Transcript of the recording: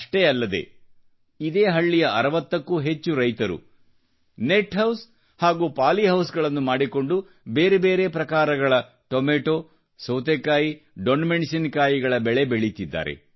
ಅಷ್ಟೇ ಅಲ್ಲದೆ ಇದೇ ಹಳ್ಳಿಯ 60ಕ್ಕೂ ಹೆಚ್ಚು ರೈತರು ನೆಟ್ಹೌಸ್ ಹಾಗೂ ಪಾಲಿಹೌಸ್ಗಳನ್ನು ಮಾಡಿಕೊಂಡು ಟೊಮೊಟೊ ಸೌತೆಕಾಯಿ ದೊಣ್ಣೆ ಮೆಣಸಿನಕಾಯಿಗಳ ವಿವಿಧ ಪ್ರಬೇಧಗಳನ್ನು ಬೆಳೆಯುತ್ತಿದ್ದಾರೆ